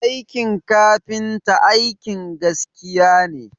Aikin kafinta aikin gaskiya ne